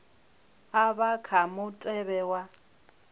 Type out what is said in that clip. a vha kha mutevhe wa